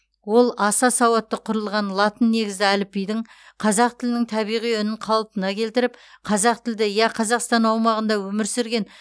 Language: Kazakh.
ол аса сауатты құрылған латын негізді әліпбидің қазақ тілінің табиғи үнін қалпына келтіріп қазақтілді я қазақстан аумағында өмір сүрген